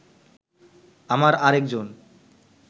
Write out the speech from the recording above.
আমার আরেকজন